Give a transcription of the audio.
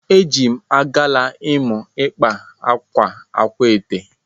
Ejim agala imụ ịkpa akwa akwaete.